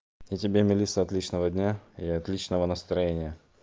и тебе мелисса отличного дня и отличного настроения